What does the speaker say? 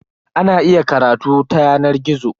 Ana iya karatu ta yanar gizo.